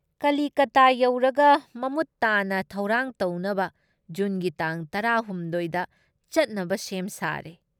ꯀꯂꯤꯀꯇꯥ ꯌꯧꯔꯒ ꯃꯃꯨꯠ ꯇꯥꯅ ꯊꯧꯔꯥꯡ ꯇꯧꯅꯕ ꯖꯨꯟꯒꯤ ꯇꯥꯡ ꯇꯔꯥ ꯍꯨꯝꯗꯣꯏ ꯗ ꯆꯠꯅꯕ ꯁꯦꯝ ꯁꯥꯔꯦ ꯫